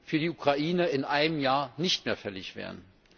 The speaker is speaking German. für die Ukraine in einem Jahr nicht mehr fällig wären?